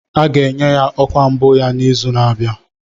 A ga-enye ya ọkwa mbụ ya n'izu na-abịa